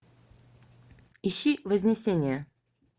ищи вознесение